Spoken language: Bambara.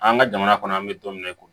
An ka jamana kɔnɔ an bɛ don min na i ko bi